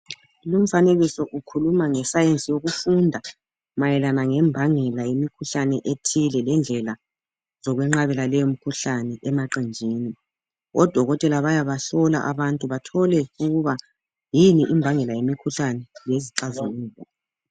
Lumfanekiso ukhuluma ngesayensi yokufunda mayelana ngembangela yemikhuhlane ethile lendlela yokunqabela leyimikhuhlane emaqenjini. Odokotela bayabahlola abantu bathole ukuba yini imbangela yemikhuhlane lezixazululo.